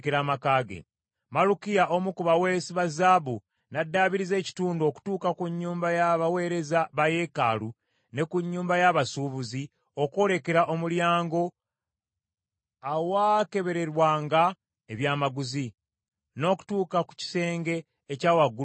Malukiya omu ku baweesi ba zaabu n’addaabiriza ekitundu okutuuka ku nnyumba y’abaweereza ba yeekaalu, ne ku nnyumba ya basuubuzi okwolekera Omulyango Awaakeberebwanga Ebyamaguzi, n’okutuuka ku kisenge ekya waggulu ku nsonda.